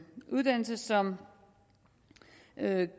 uddannelse som